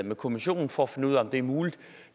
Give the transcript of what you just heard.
med kommissionen for at finde ud af om det er muligt